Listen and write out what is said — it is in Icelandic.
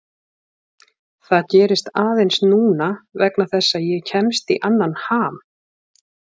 Það gerist aðeins núna vegna þess að ég kemst í annan ham.